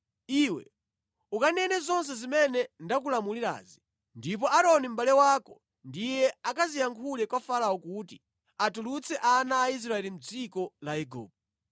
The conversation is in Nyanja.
Iwe ukanene zonse zimene ndakulamulirazi, ndipo Aaroni mʼbale wako ndiye akaziyankhule kwa Farao kuti atulutse ana a Israeli mʼdziko la Igupto.